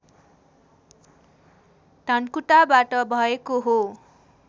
धनकुटाबाट भएको हो